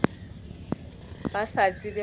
ba sa tsebe gore ba